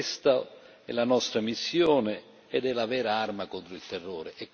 Questa è la nostra missione ed è la vera arma contro il terrore.